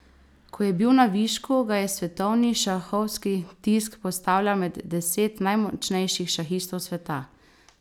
Ko je bil na višku, ga je svetovni šahovski tisk postavljal med deset najmočnejših šahistov sveta.